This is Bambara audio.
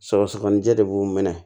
Sɔgɔsɔgɔnijɛ de b'u minɛ